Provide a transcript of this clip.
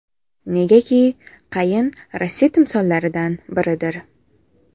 Negaki qayin Rossiya timsollaridan biridir.